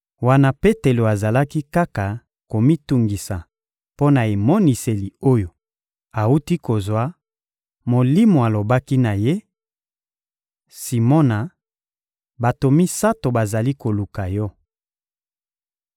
Wana Petelo azalaki kaka komitungisa mpo na emoniseli oyo awuti kozwa, Molimo alobaki na ye: — Simona, bato misato bazali koluka yo.